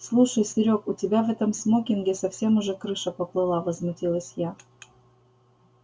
слушай серёг у тебя в этом смокинге совсем уже крыша поплыла возмутилась я